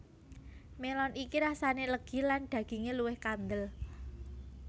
Melon iki rasane legi lan daginge luwih kandel